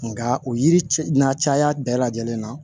Nka o yiri cɛ n'a caya bɛɛ lajɛlen na